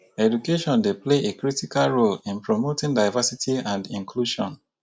education dey play a critical role in promoting diversity and inclusion.